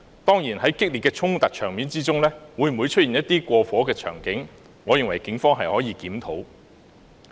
當然，在激烈的衝突場面中，會否出現一些過火的場景，我認為警方是可以檢討的。